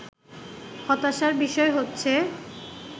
হতাশার বিষয় হচ্ছে